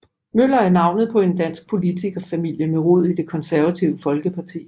Møller er navnet på en dansk politikerfamilie med rod i Det Konservative Folkeparti